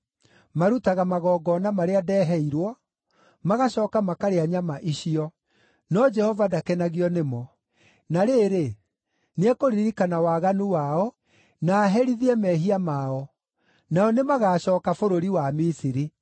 Marutaga magongona marĩa ndeheirwo, magacooka makarĩa nyama icio, no Jehova ndakenagio nĩmo. Na rĩrĩ, nĩekũririkana waganu wao, na aherithie mehia mao. Nao nĩmagacooka bũrũri wa Misiri.